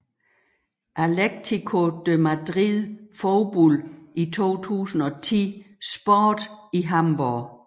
Atletico de Madrid Fodbold i 2010 Sport i Hamborg